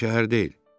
Yer şəhər deyil.